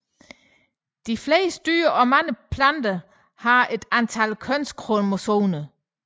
De fleste dyr og mange planter har et antal kønskromosomer